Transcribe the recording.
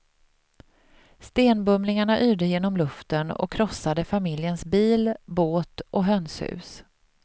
Stenbumlingarna yrde genom luften och krossade familjens bil, båt och hönshus.